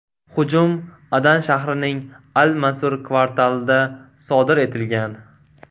Hujum Adan shahrining Al-Mansur kvartalida sodir etilgan.